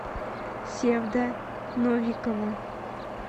севда новикова